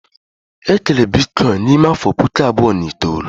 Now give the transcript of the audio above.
E kere Bitcoin n'ime afọ puku abụọ na itoolu